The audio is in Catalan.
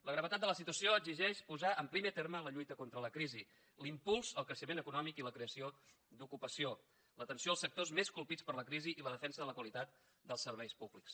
la gravetat de la situació exigeix posar en primer terme la lluita contra la crisi l’impuls al creixement econòmic i la creació d’ocupació l’atenció als sectors més colpits per la crisi i la defensa de la qualitat dels serveis públics